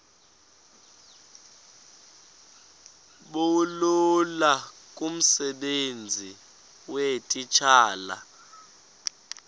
bulula kumsebenzi weetitshala